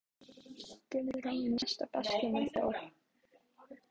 Gerður á í mesta basli með þá.